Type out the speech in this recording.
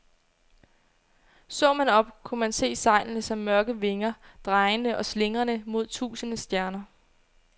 Så man op, kunne man se sejlene som mørke vinger, drejende og slingrende mod tusinde stjerner.